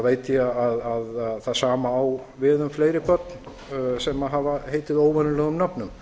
veit ég að það sama á við um fleiri börn sem hafa heitið óvenjulegum nöfnum